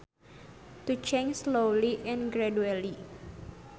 To change slowly and gradually